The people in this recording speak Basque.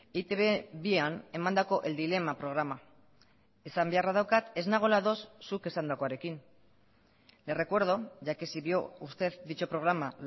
eitb bian emandako el dilema programa esan beharra daukat ez nagoela ados zuk esandakoarekin le recuerdo ya que si vio usted dicho programa